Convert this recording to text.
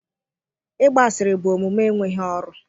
Ịgba asịrị bụ omume enweghị ọrụ.